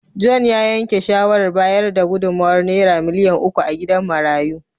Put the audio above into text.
John ya yanke shawarar bayar da gudummawar Naira miliyan uku a gidan marayun.